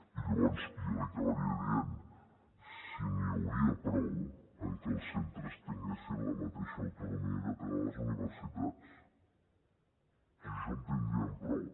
i llavors jo li acabaria dient si n’hi hauria prou amb que els centres tinguessin la mateixa autonomia que tenen les universitats si amb això en tindríem prou